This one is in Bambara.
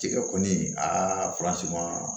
Tigɛ kɔni aa